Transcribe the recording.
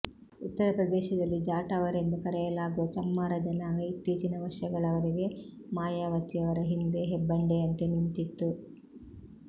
ಉತ್ತರಪ್ರದೇಶದಲ್ಲಿ ಜಾಟವರೆಂದು ಕರೆಯಲಾಗುವ ಚಮ್ಮಾರ ಜನಾಂಗ ಇತ್ತೀಚಿನ ವರ್ಷಗಳವರೆಗೆ ಮಾಯಾವತಿಯವರ ಹಿಂದೆ ಹೆಬ್ಬಂಡೆಯಂತೆ ನಿಂತಿತ್ತು